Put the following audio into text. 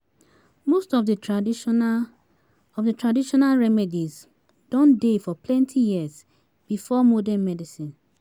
Most of the traditional of the traditional remedies don dey for plenty years before modern medicine